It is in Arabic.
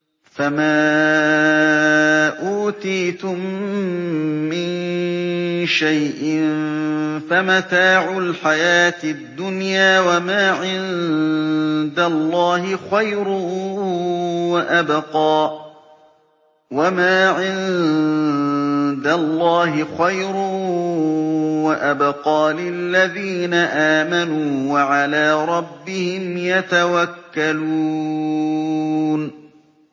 فَمَا أُوتِيتُم مِّن شَيْءٍ فَمَتَاعُ الْحَيَاةِ الدُّنْيَا ۖ وَمَا عِندَ اللَّهِ خَيْرٌ وَأَبْقَىٰ لِلَّذِينَ آمَنُوا وَعَلَىٰ رَبِّهِمْ يَتَوَكَّلُونَ